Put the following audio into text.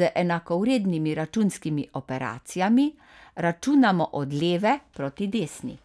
z enakovrednimi računskimi operacijami računamo od leve proti desni.